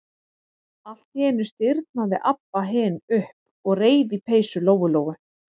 Allt í einu stirðnaði Abba hin upp og reif í peysu Lóu-Lóu.